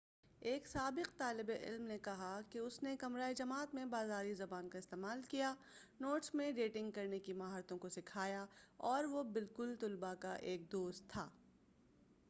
ایک سابق طالب علم نے کہا کہ اُس نے 'کمرۂ جماعت میں بازاری زبان کا استعمال کیا ، نوٹس میں ڈیٹنگ کرنے کی مہارتوں کو سکھایا، اور وہ بالکل طلباء کا ایک دوست تھا'۔